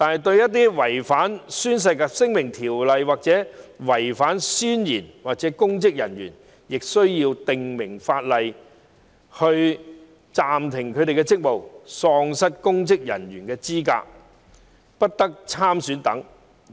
至於違反《宣誓及聲明條例》或誓言的公職人員，我們需要制定法規，訂明他們會被暫停職務、喪失公職人員資格及不得參選等。